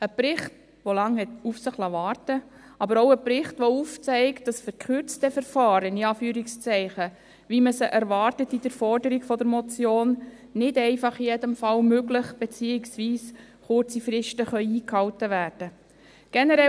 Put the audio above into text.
Ein Bericht, der lange auf sich warten liess, aber auch ein Bericht, der aufzeigt, dass «verkürzte Verfahren», wie man sie in der Forderung der Motion erwartet, nicht einfach in jedem Fall möglich sind, beziehungsweise kurze Fristen eingehalten werden können.